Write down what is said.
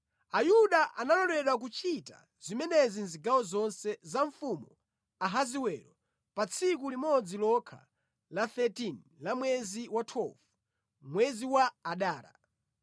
Ayuda analoledwa kuchita zimenezi mʼzigawo zonse za Mfumu Ahasiwero pa tsiku limodzi lokha la 13 la mwezi wa 12, mwezi wa Adara.